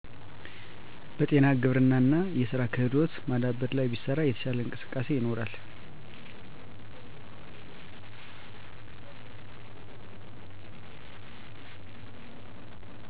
በጤና በግብርና እና የስራ ክህሎት ማዳበር ላይ ቢሰራ የተሻለ እንቅስቃሴ ይኖራል